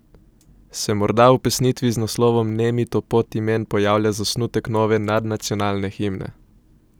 Se morda v pesnitvi z naslovom Nemi topot imen pojavlja zasnutek nove nadnacionalne himne?